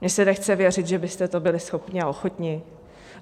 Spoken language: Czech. Mně se nechce věřit, že byste toho byli schopni a ochotni.